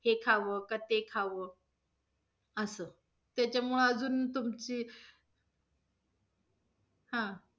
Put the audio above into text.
हे खाव का ते खाव असं, त्याच्यामुळ अजून तुमची हा,